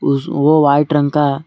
उस वो वाइट रंग का--